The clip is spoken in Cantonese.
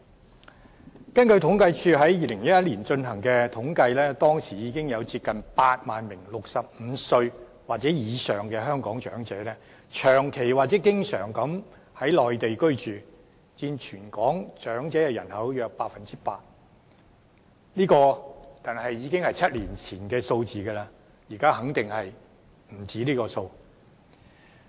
根據香港政府統計處於2011年進行的統計，當時已經有接近8萬名65歲或以上的香港長者長期或經常在內地居住，佔全港長者人口約 8%， 這個已經是7年前的數字，現在肯定不止這個數目。